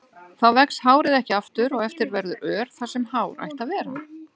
Þá vex hárið ekki aftur og eftir verður ör þar sem hár ætti að vera.